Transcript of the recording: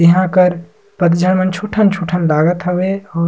यहाँ आ कर पझान छोटन-छोटन लागत हवे औ --